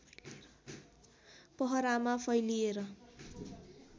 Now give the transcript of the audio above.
पहरामा फैलिएर